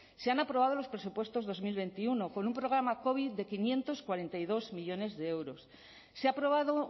se han aprobado los presupuestos dos mil veintiuno con un programa covid de quinientos cuarenta y dos millónes de euros se ha aprobado